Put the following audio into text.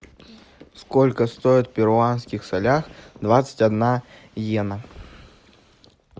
сколько стоит в перуанских солях двадцать одна йена